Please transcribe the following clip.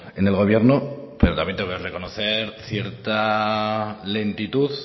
en el gobierno pero también le tengo que reconocer cierta lentitud